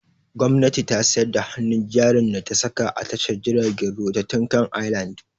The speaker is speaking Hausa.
Gwamnati ta sayar da hannun jarin da ta saka a tashar jiragen ruwa ta Tinkan Island.